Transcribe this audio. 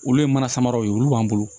Olu ye mana samaraw ye olu b'an bolo